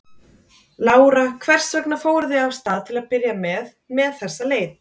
Lára: Hvers vegna fóruð þið af stað til að byrja með með þessa leit?